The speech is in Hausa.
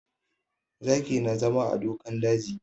Zaki na zama a dokan daji